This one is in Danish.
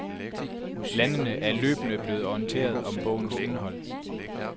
Landene er løbende blevet orienteret om bogens indhold.